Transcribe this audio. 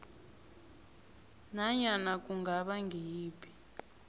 nanyana kungaba ngiyiphi